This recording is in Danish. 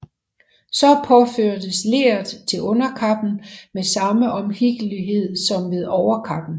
Så påførtes leret til underkappen med samme omhyggelighed som ved overkappen